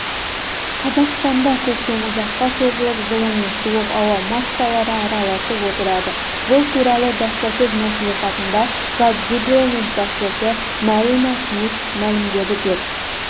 қазақстанда көктем ұзаққа созылып жылы мен суық ауа массалары араласып отырады бұл туралы баспасөз мәслихатында қазгидромет басшысы марина шмидт мәлімдеді деп